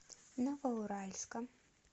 новоуральска